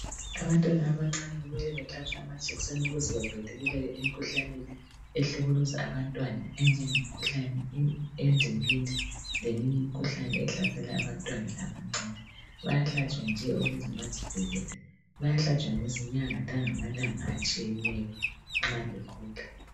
Abantwana abancane kumele bahlatshwe amajekiseni ukuze bavikeleke emikhuhlaneni ehlukuluza abantwana enjenge mkhuhlane wendingindi leminye imikhuhlane ehlasela abantwana abancane. Bayahlatshwa nje ukuze bazivikele. Bayahlatshwa ngezinyanga langamalanga atshiyeneyo nxa bekhula.